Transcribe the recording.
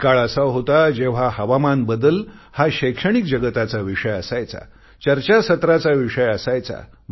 एक काळ होता जेव्हा हवामान बदल हा शैक्षणिक जगताचा विषय असायचा चर्चासत्राचा विषय असायचा